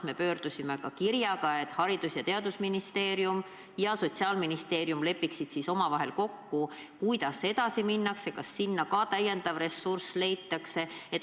Me tegime kirja teel pöördumise, et Haridus- ja Teadusministeerium ja Sotsiaalministeerium lepiksid omavahel kokku, kuidas edasi minnakse ja kas sinna ka täiendav ressurss leitakse.